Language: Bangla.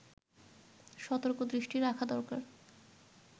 সতর্ক দৃষ্টি রাখা দরকার